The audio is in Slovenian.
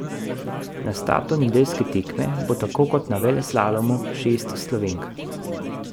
Na startu nedeljske tekme bo tako kot na veleslalomu šest Slovenk.